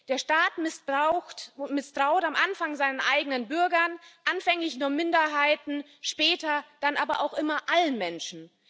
Der Staat misstraut am Anfang seinen eigenen Bürgern, anfänglich nur Minderheiten, später dann aber auch immer allen Menschen.